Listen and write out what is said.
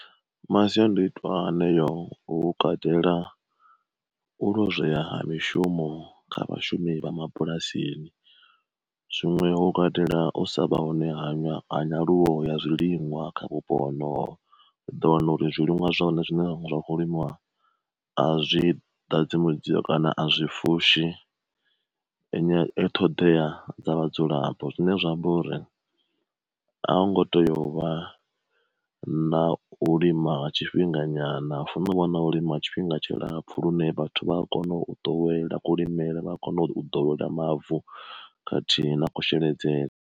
Masiandoitwa haneyo hu katela, u lozwea ha mishumo kha vhashumi vha mabulasini, zwiṅwe ho katela u sa vha hone hanya ha nyaluwo ya zwiliṅwa kha vhupo honoho, u ḓo wana uri zwiliṅwa zwahone zwine zwa kho limiwa a zwi ḓadzi mudzio kana a zwi fushi ṱhoḓea dza vhadzulapo, zwine zwa amba uri a hu ngo teya uvha na u lima tshifhinga nyana hu funa u vha na u lima ha tshifhinga tshi lapfu lune vhathu vha a kona u ḓowela kulimele vha a kona u ḓowela mavu khathihi na kusheledzele.